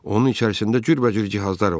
Onun içərisində cürbəcür cihazlar var.